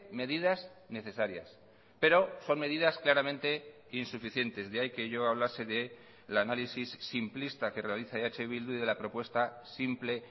medidas necesarias pero son medidas claramente insuficientes de ahí que yo hablase del análisis simplista que realiza eh bildu y de la propuesta simple